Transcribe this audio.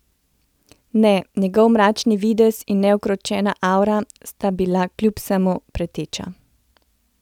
Ne, njegov mračni videz in neukročena avra sta bila kljub vsemu preteča.